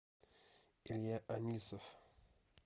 илья анисов